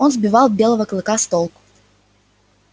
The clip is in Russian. он сбивал белого клыка с толку